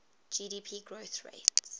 gdp growth rates